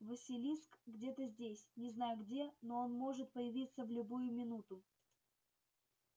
василиск где-то здесь не знаю где но он может появиться в любую минуту